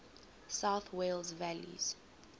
south wales valleys